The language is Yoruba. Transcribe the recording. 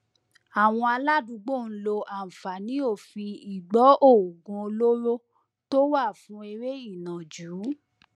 àwọn aládùúgbò ń lo àǹfààní òfin ìgbọoògùn olóró tó wà fún eré ìnàjú